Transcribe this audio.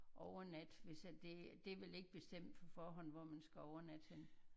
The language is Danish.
Overnatte hvis at det det er vel ikke bestemt på forhånd hvor man skal overnatte henne?